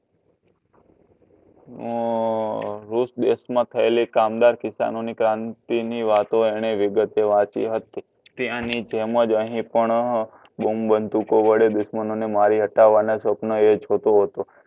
રુષ દેશમાં થયેલી કામદાર કિશાનોની ક્રાંતિની વાતો એને વિગતે વાંચી હતી. ત્યાંની તેમજ અહીં પણ બોમ બંધૂકો વડે દુશ્મનોને મારી હટાવવાના સપના એ જોતો હતો.